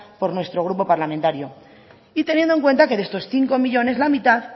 por nuestro grupo parlamentario y teniendo en cuenta que de estos cinco millónes la mitad